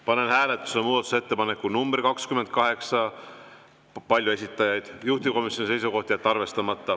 Panen hääletusele muudatusettepaneku nr 28, palju esitajaid, juhtivkomisjoni seisukoht: jätta arvestamata.